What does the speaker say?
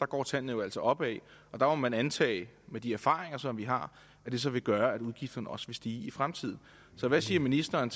går tallene jo altså opad og der må man antage med de erfaringer som vi har at det så vil gøre at udgifterne også vil stige i fremtiden så hvad siger ministeren